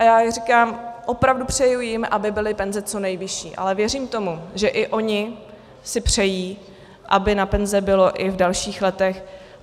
A já říkám, opravdu přeji jim, aby byly penze co nejvyšší, ale věřím tomu, že i oni si přejí, aby na penze bylo i v dalších letech.